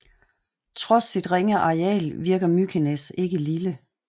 Trods sit ringe areal virker Mykines ikke lille